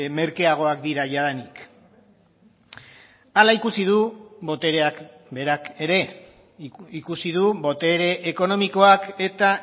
merkeagoak dira jadanik hala ikusi du botereak berak ere ikusi du botere ekonomikoak eta